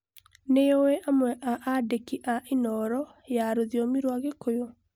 nĩũĩ amwe a andĩki a inooro ya rũthiomi rwa gĩkũyũ